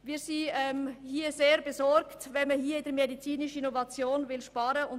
Wir sind sehr besorgt darüber, dass man bei der medizinischen Innovation sparen will.